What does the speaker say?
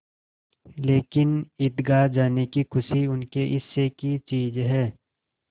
लेकिन ईदगाह जाने की खुशी उनके हिस्से की चीज़ है